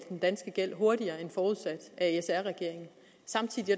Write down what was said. den danske gæld hurtigere end forudsat af sr regeringen samtidig